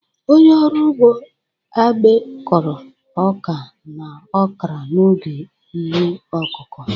Onye ọrụ ugbo Agbe Kọrọ ọka na okra n'oge ihe ọkụkụ.